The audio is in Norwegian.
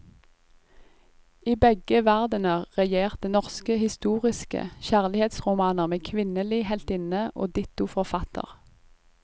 I begge verdener regjerte norske historiske kjærlighetsromaner med kvinnelig heltinne og ditto forfatter.